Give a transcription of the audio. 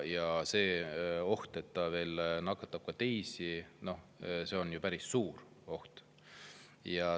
Ja see oht, et ta nakatab teisi, on päris suur.